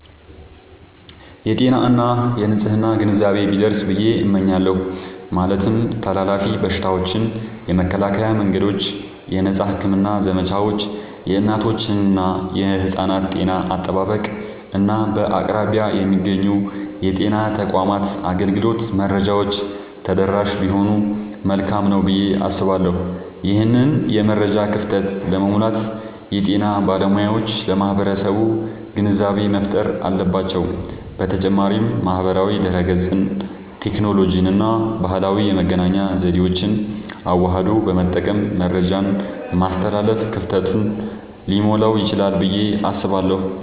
የጤና እና የንፅህና ግንዛቤ ቢደርስ ብየ እመኛለሁ። ማለትም ተላላፊ በሽታዎችን የመከላከያ መንገዶች፣ የነፃ ሕክምና ዘመቻዎች፣ የእናቶችና የሕፃናት ጤና አጠባበቅ፣ እና በአቅራቢያ የሚገኙ የጤና ተቋማት አገልግሎት መረጃዎች ተደራሽ ቢሆኑ መልካም ነዉ ብየ አስባለሁ። ይህንን የመረጃ ክፍተት ለመሙላት የጤና ባለሙያዎች ለማህበረሰቡ ግንዛቤ መፍጠር አለባቸዉ። በተጨማሪም ማህበራዊ ድህረገጽን፣ ቴክኖሎጂንና ባህላዊ የመገናኛ ዘዴዎችን አዋህዶ በመጠቀም መረጃን ማስተላለፍ ክፍተቱን ሊሞላዉ ይችላል ብየ አስባለሁ።